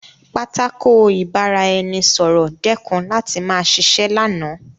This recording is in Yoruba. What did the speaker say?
Pátákó ìbára-ẹni-sọ̀rọ̀ dẹ́kun láti ma ṣiṣẹ́ lánàá